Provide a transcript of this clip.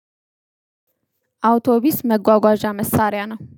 አውቶቢስ መጓጓዣ መሳሪያ ነው